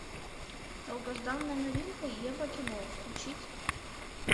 долгожданная новинка еврокино включить